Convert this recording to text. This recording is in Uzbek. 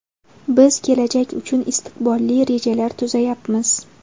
Biz kelajak uchun istiqbolli rejalar tuzayapmiz.